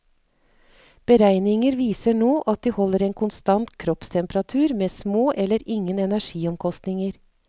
Beregninger viser nå at de holder en konstant kroppstemperatur med små eller ingen energiomkostninger.